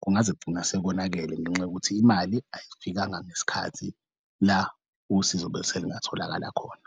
kungaze kugcina sekonakele ngenxa yokuthi imali ayifikanga ngesikhathi la usizo bese lingatholakala khona.